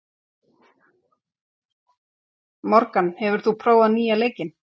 Morgan, hefur þú prófað nýja leikinn?